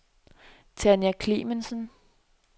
Tanja Clemmensen